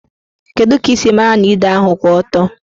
Kedụ ka ị siri mara na ide ahụ kwụ ọtọ?